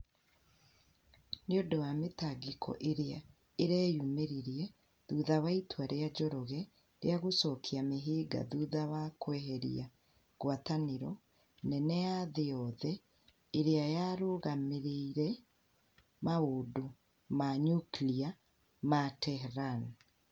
nĩ ũndũ wa mĩtangĩko ĩrĩa ĩreyumĩririe thutha wa itua rĩa Njoroge rĩa gũcokia mĩhĩnga thutha wa kweheria ngwatanĩro nene ya thĩ yothe ĩrĩa yarũgamĩrĩire maũndũ ma nyukilia ma Tehran".